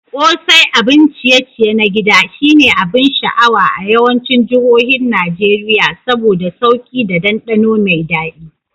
Ƙosai, abun ciye-ciye na gida, shine abin sha'awa a yawancin jihohin Najeriya saboda sauki da dandano mai dadi.